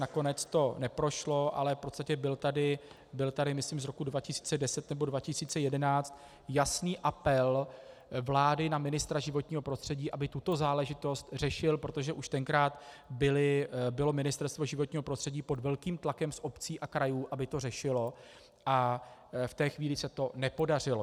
Nakonec to neprošlo, ale v podstatě byl tady, myslím z roku 2010 nebo 2011, jasný apel vlády na ministra životního prostředí, aby tuto záležitost řešil, protože už tenkrát bylo Ministerstvo životního prostředí pod velkým tlakem z obcí a krajů, aby to řešilo, a v té chvíli se to nepodařilo.